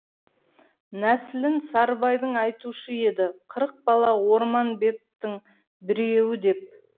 нәсілін сарыбайдың айтушы еді қырық бала орманбеттің біреуі деп